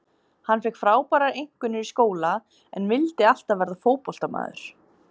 Hann fékk frábærar einkunnir í skóla en vildi alltaf verða fótboltamaður.